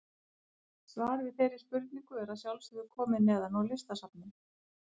Svar við þeirri spurningu er að sjálfsögðu komið neðan úr Listasafni.